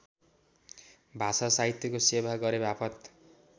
भाषासाहित्यको सेवा गरेवापत